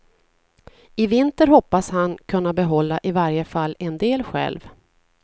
I vinter hoppas han kunna behålla i varje fall en del själv.